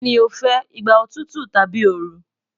Kini o fẹ, igba otutu tabi ooru